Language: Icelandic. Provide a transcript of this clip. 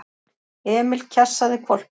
Emil kjassaði hvolpinn.